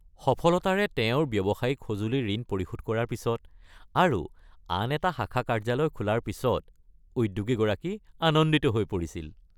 সফলতাৰে তেওঁৰ ব্যৱসায়িক সঁজুলিৰ ঋণ পৰিশোধ কৰাৰ পিছত আৰু আন এটা শাখা কাৰ্যালয় খোলাৰ পিছত উদ্যোগীগৰাকী আনন্দিত হৈ পৰিছিল।